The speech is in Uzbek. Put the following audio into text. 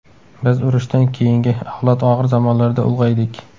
Biz urushdan keyingi avlod og‘ir zamonlarda ulg‘aydik.